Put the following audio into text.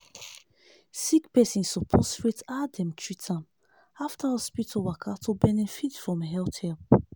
sick person suppose rate how dem treat am after hospital waka to benefit from health help.